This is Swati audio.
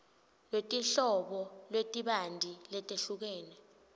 lwetinhlobo letibanti letehlukene